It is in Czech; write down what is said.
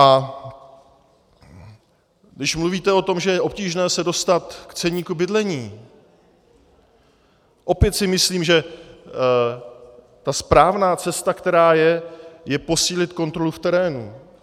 A když mluvíte o tom, že je obtížné se dostat k ceníku bydlení, opět si myslím, že ta správná cesta, která je, je posílit kontrolu v terénu.